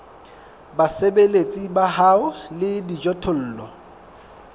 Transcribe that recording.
basebeletsi ba hao le dijothollo